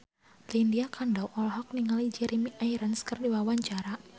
Lydia Kandou olohok ningali Jeremy Irons keur diwawancara